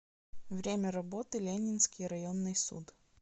время работы ленинский районный суд